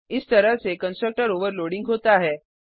इस तरह से कंस्ट्रक्टर ओवरलोडिंग होता है